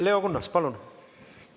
Leo Kunnas, palun!